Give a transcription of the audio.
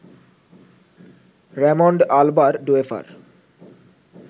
Raymond আল্বারডোয়েফার